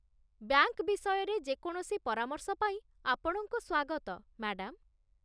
bank ବିଷୟରେ ଯେ କୌଣସି ପରାମର୍ଶ ପାଇଁ ଆପଣଙ୍କୁ ସ୍ୱାଗତ, ମ୍ୟାଡାମ୍